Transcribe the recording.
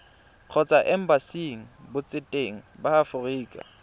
kgotsa embasing botseteng ba aforika